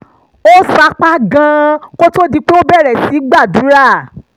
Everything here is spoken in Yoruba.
ó sapá gan-an kó tó di pé ó bẹ̀rẹ̀ sí í gbàdúrà